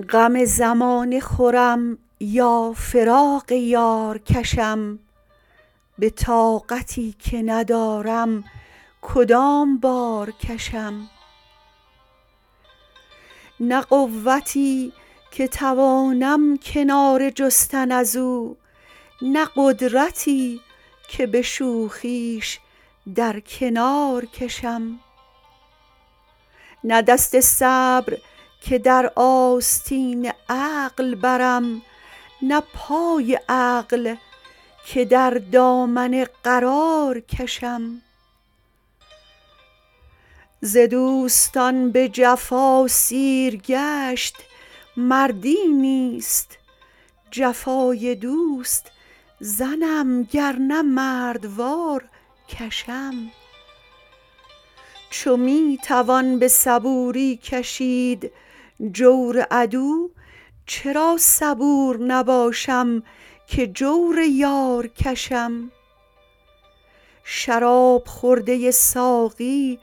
غم زمانه خورم یا فراق یار کشم به طاقتی که ندارم کدام بار کشم نه قوتی که توانم کناره جستن از او نه قدرتی که به شوخیش در کنار کشم نه دست صبر که در آستین عقل برم نه پای عقل که در دامن قرار کشم ز دوستان به جفا سیرگشت مردی نیست جفای دوست زنم گر نه مردوار کشم چو می توان به صبوری کشید جور عدو چرا صبور نباشم که جور یار کشم شراب خورده ساقی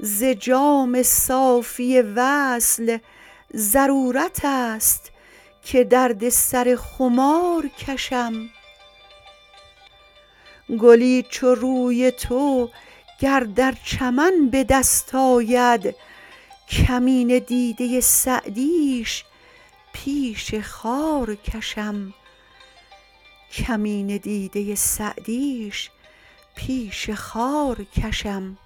ز جام صافی وصل ضرورت است که درد سر خمار کشم گلی چو روی تو گر در چمن به دست آید کمینه دیده سعدیش پیش خار کشم